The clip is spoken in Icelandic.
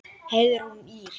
Heiðrún Ýr.